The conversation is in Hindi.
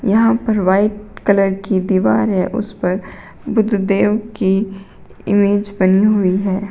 यहां पर वाइट कलर की दीवार है उस पर बुद्धदेव की इमेज बनी हुई है।